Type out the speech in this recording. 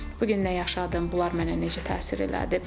Bu gün nə yaşadım, bunlar mənə necə təsir elədi.